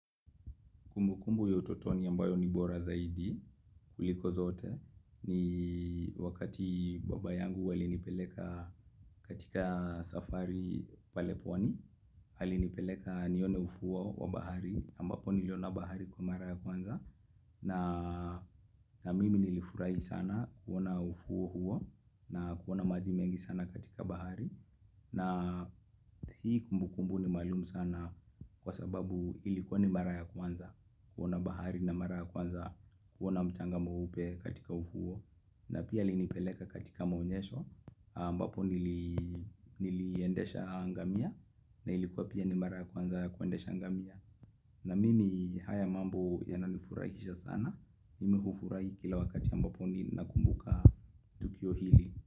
Kumbu kumbu ya utotoni ambayo ni bora zaidi, kuliko zote, ni wakati baba yangu wali nipeleka katika safari pale pwani, ali nipeleka nione ufuo wa bahari, ambapo niliona bahari kwa mara ya kwanza, na na mimi nilifurahi sana kuona ufuo huo, na kuona maji mengi sana katika bahari, na hii kumbu kumbu ni maalumu sana kwa sababu ilikuwa ni mara ya kwanza kuona bahari na mara ya kwanza kuona mcanga mweupe katika ufuo na pia alinipeleka katika maonyesho ambapo nili niliendesha ngamia na ilikuwa pia ni mara ya kwanza kuendesha ngamia na mimi haya mambo yananifurahisha sana mimi hufurahi kila wakati ambapo ni nakumbuka tukio hili.